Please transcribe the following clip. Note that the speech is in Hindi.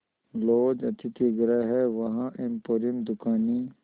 लॉज अतिथिगृह हैं वहाँ एम्पोरियम दुकानें